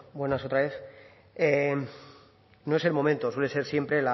buenas otra vez no es el momento suele ser siempre